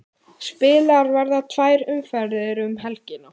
Spilaðar verða tvær umferðir um helgina